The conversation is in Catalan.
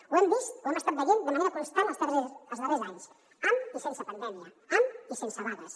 ho hem vist o ho hem estat veient de manera constant els darrers anys amb i sense pandèmia amb i sense vagues